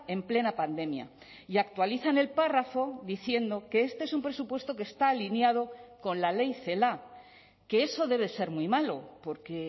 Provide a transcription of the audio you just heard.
en plena pandemia y actualizan el párrafo diciendo que este es un presupuesto que está alineado con la ley celaá que eso debe ser muy malo porque